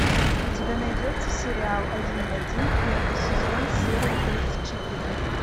у тебя найдется сериал один в один первый сезон серия тридцать четыре